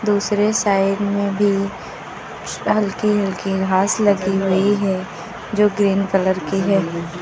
दूसरे साइड में भी हल्की हल्की घास लगी हुई है जो ग्रीन कलर की है।